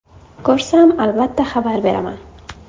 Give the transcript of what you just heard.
Ko‘rsam, albatta xabar beraman.